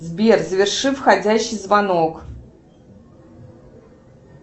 сбер заверши входящий звонок